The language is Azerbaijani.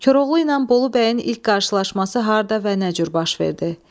Koroğlu ilə Bolu bəyin ilk qarşılaşması harda və necə cür baş verdi?